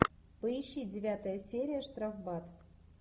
поищи девятая серия штрафбат